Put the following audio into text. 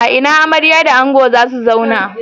A ina amarya da ango za su zauna?